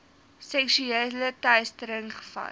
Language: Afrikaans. seksuele teistering gevalle